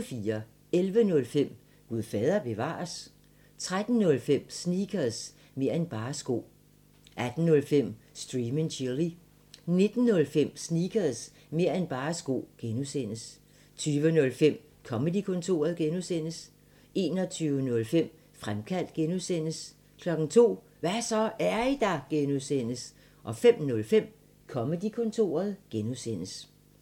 11:05: Gud fader bevares? 13:05: Sneakers – mer' end bare sko 18:05: Stream & Chill 19:05: Sneakers – mer' end bare sko (G) 20:05: Comedy-kontoret (G) 21:05: Fremkaldt (G) 02:00: Hva' så, er I der? (G) 05:05: Comedy-kontoret (G)